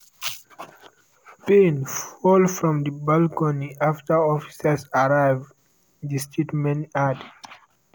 payne fall from di balcony after officers arrive di statement add.